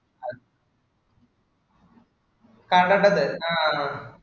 കടേടെ അത് ആഹ്